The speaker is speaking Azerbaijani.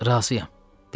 Razıyam, dedim.